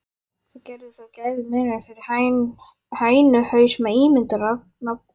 Það gerði þó gæfumuninn fyrir hænuhaus með ímyndunarafl.